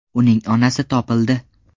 Uning onasi topildi.